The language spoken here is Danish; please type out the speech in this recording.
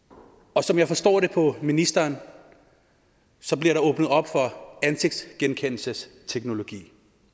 og som jeg forstår det på ministeren bliver der åbnet op for ansigtsgenkendelsesteknologi